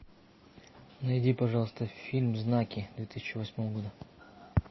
найди пожалуйста фильм знаки две тысячи восьмого года